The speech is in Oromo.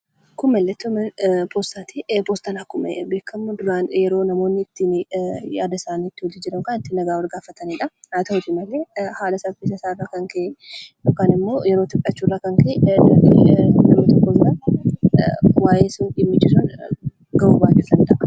Kun mallattoo mana poostaa akkuma beekamu namoonni duraan yaada isaanii ittii wal jijjiiran kan ittiin nagaa wal gaafatanidha. Yeroo itti fudhachuurraa kan ka'e waanti barbaadame tokko ergichi yeroo barbaadametti gahuu dhiisuu danda'a.